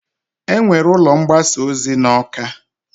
E nwere ụlọ mgbasa ozi n'Awka.